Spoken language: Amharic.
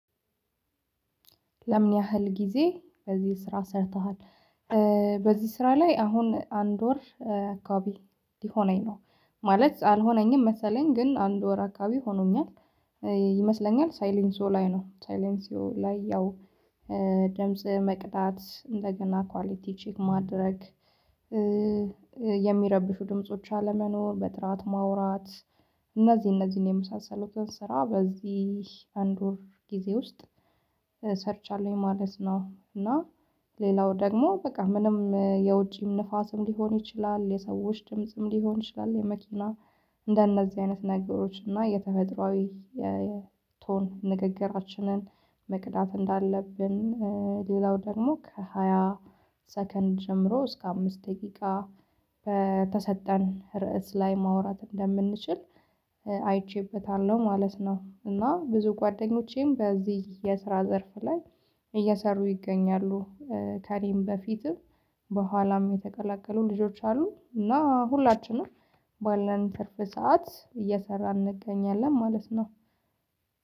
ለምን? ያህል ጊዜ በዚህ ስራ ሠርተሃል። በዚህ ስራ ላይ አሁን አንድ ወር አካባቢ ሊሆነኝ ነው ማለት አልሆነኝም መሰለኝ ግን አንድ ወር አካባቢ ሆኖኛል። ይመስለኛል ሳይለንሲዎ ላይ ነው ሳይለንሲዎ ላይ ያው ደምጽ መቅዳት እንደገና ኳሊቲ ቼክ ማድረግ። የሚረብሹ ድምጾች አለመኖር በጥራት ማውራት። እነዚህ እነዚህን የመሳሰሉትን ስራ በዚህ አንድ ወር ጊዜ ውስጥ ሰርቻለሁኝ ማለት ነው። እና ሌላው ደግሞ በቃ ምንም የውጪም ንፋስም ሊሆን ይችላል የሰዎች ድምጽም ሊሆን ይችላል። የመኪና እንደነዚህ አይነት ነገሮች እና የተፈጥሯዊ የቶን ንግግራችንን መቅዳት እንዳለብን። ሌላው ደግሞ ከሃያ ሰከንድ ጀምሮ እስከ አምስት ደቂቃ በተሰጠን ርዕስ ላይ ማውራት እንደምንችል አይቼበታለሁ ማለት ነው። እና ብዙ ጓደኞቼም በዚህ የስራ ዘርፍ ላይ እየሰሩ ይገኛሉ። ከእኔም በፊትም በኋላም የተቀላቀሉ ልጆች አሉ። እና ሁላችንም ባለን ትርፍ ሰዓት እየሰራን እንገኛለን ማለት ነው።